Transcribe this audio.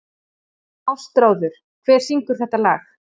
Ástráður, hver syngur þetta lag?